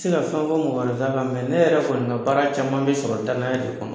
tɛ se ka fɛn fɔ mɔgɔ wɛrɛ ta kan ne yɛrɛ kɔni ka baara caman bɛ sɔrɔ danaya de kɔnɔ.